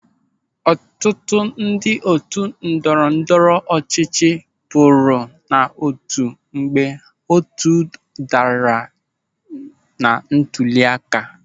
Ọtụtụ ndị otu ndọrọ ndọrọ ọchịchị pụrụ n'otu mgbe otu daara na ntụli aka.